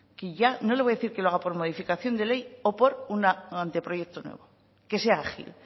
y ya no le voy a decir que lo haga por modificación de ley o por un anteproyecto nuevo que sea ágil